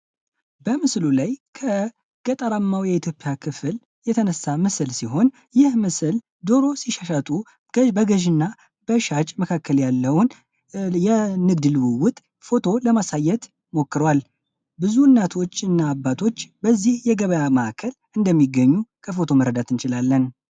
በምስሉ ላይ ከገጠራማው የኢትዮጵያ ክፍል የተነሳ ምስል ሲሆን በምስሉ ላይ ደሮ ሲሻሻጡ በገዢ እና በሻጭ መካከል ያለውን የንግድ ግንኙነት ፎቶ ለማሳየት ሞክሯል ብዙ እናቶች እና አባቶች በዚህ የገበያ ማዕከል ውስጥ እንደሚገኙ ከፎቶው መረዳት እንችላለን።